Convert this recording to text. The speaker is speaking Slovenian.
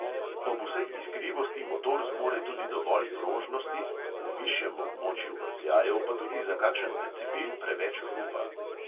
Ob vsej iskrivosti motor zmore tudi dovolj prožnosti, v višjem območju vrtljajev pa tudi za kakšen decibel preveč hrupa.